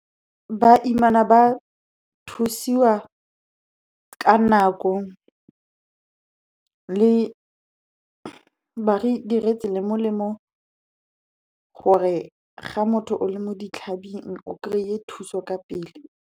Baimana ba thusiwa ka nako. Ba re diretse le molemo, gore ga motho a le mo ditlhabing, o kry-e thuso ka pele.